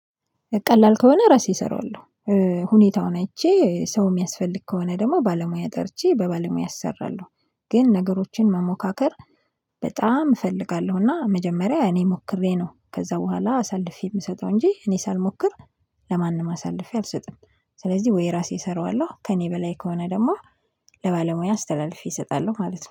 ቀላል ከሆነ ራሴ እሰራዋለሁ። ሁኔታውን አይቼ ሰው የሚያስፈልግ ከሆነ ደግሞ ባለሙያ ጠርቼ በባለሙያ አሰራለሁ። ግን ነገሮችን መሞካከር በጣም እፈልጋለሁና መጀመሪያ እኔ ሞክሬ ነው። ከዛ በኋላ አሳልፌ የምሰጠው እንጂ እኔ ሳልሞክር ለማንም አሳልፌ አልሰጥም። ስለዚህ ወይ ራሴ እሰራዋለሁ ከእኔ በላይ ከሆነ ደግሞ ለባለሙያ አስተላልፌ እሰጣለሁ ማለት ነው